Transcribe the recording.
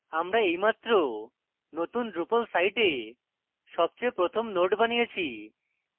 আমরা এইমাত্র নতুন drupal site সবচেয়ে প্রথম node বানিয়েছি